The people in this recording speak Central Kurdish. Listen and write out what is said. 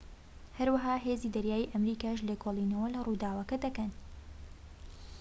هەروەها هێزی دەریایی ئەمریکاش لێکۆڵینەوە لە ڕووداوەکە دەکەن